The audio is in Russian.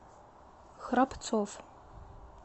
храбцов